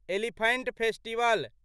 elephant festival